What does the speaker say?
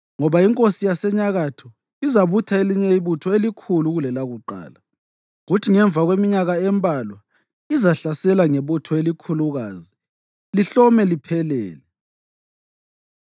Ngoba inkosi yaseNyakatho izabutha elinye ibutho elikhulu kulelakuqala; kuthi ngemva kweminyaka embalwa izahlasela ngebutho elikhulukazi lihlome liphelele.